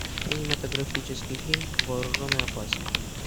кинематографический фильм вооружен и опасен